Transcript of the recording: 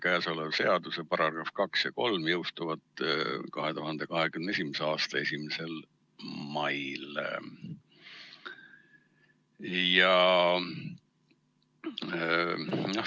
Käesoleva seaduse §-d 2 ja 3 jõustuvad 2021. aasta 1. mail.